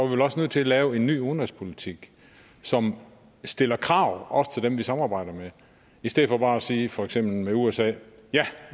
vel også nødt til at lave en ny udenrigspolitik som stiller krav også til dem vi samarbejder med i stedet for bare at sige i for eksempel usa at